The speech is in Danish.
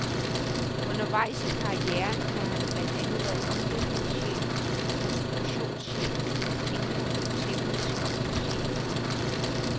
Undervejs i karrieren har han blandt andet været udviklingschef og konstruktionschef, inden han blev teknisk chef.